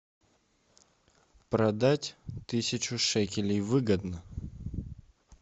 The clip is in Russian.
продать тысячу шекелей выгодно